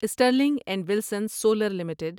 Stirling and Wilson Solar limited